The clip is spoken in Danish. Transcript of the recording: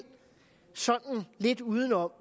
sådan lidt udenom